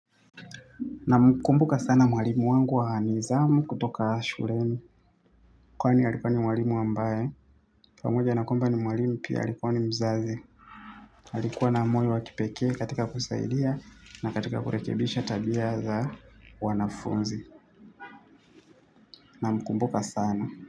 Namkumbuka sana mwalimu wangu wa nizamu kutoka shuleni. Kwani alikuwa ni mwalimu ambaye pamoja na kwamba ni mwalimu pia alikuwa ni mzazi alikua na moyo wa kipekee katika kusaidia na katika kurekebisha tabia za wanafunzi. Namkumbuka sana.